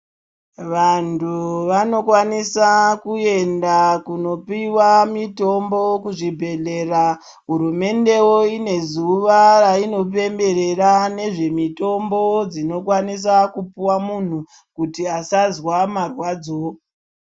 Vantu vanokwanisa kuenda kunopiwa mutombo kuzvibhedhlera hurumende wo ine zuwa rainopemberera nezve mitombo dzinokwanisa kupuwa munhu kuti asazwa marwadzo.